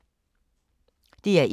DR1